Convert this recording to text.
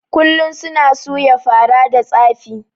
Kullun suna suya fara da tsafi